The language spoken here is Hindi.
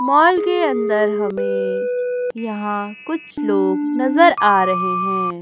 माल के अंदर हमें यहां कुछ लोग नजर आ रहे हैं।